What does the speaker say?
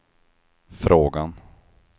frågan